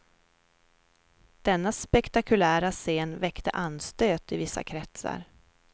Denna spektakulära scen väckte anstöt i vissa kretsar.